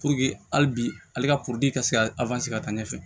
hali bi ale ka ka se ka ka taa ɲɛfɛ